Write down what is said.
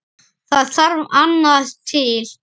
Það þarf annað til.